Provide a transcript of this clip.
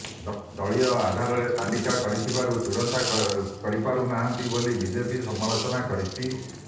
ଦଳୀୟ ଆଧାରରେ ତାଲିକା କରିଥିବାରୁ ଚୂଡ଼ାନ୍ତ କରିପାରୁ ନାହାନ୍ତି ବୋଲି ବିଜେପି ସମାଲୋଚନା କରିଛି